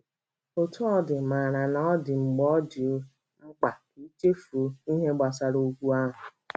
Otú ọ dị, mara na ọ dị mgbe ọ dị mkpa ka i chefuo ihe gbasara okwu ahụ.